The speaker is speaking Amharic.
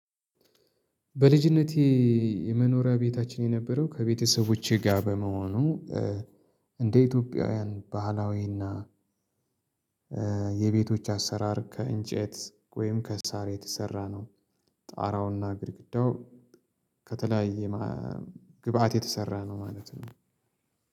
በልጅነቴ የመኖሪያ ቤታችን የነበረው ከቤተሰቦቼ ጋር በመሆኑ እንደ ኢትዮጵያውያን ባህላዊ እና የቤቶች አሰራር ከእንጨት ወይም ከሳር የተሰራ ነው። ጣራውና ግድግዳው ከተለያየ ግብአት የተሰራ ነው ማለት ነው